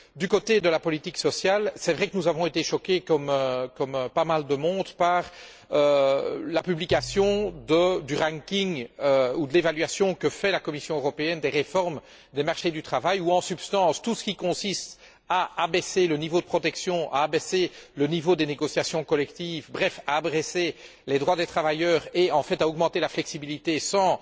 Du côté de la politique sociale, c'est vrai que nous avons été choqués, comme pas mal de monde, par la publication de l'évaluation que fait la Commission européenne des réformes des marchés du travail où, en substance, tout ce qui consiste à abaisser le niveau de protection, à abaisser le niveau des négociations collectives, bref à abaisser les droits des travailleurs et, en fait, à augmenter la flexibilité sans